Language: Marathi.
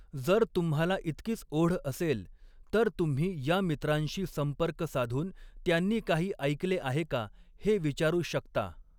जर तुम्हाला इतकीच ओढ असेल, तर तुम्ही या मित्रांशी संपर्क साधून त्यांनी काही ऐकले आहे का हे विचारू शकता.